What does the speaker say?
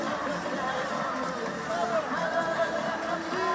Qarabağ!